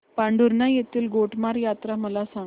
पांढुर्णा येथील गोटमार यात्रा मला सांग